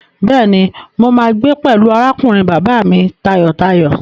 Bẹ́ẹ̀ni, mo máa gbé pẹ̀lú arákùnrin bàbá mi tayọ̀tayọ̀.